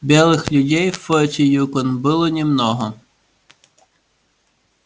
белых людей в форте юкон было немного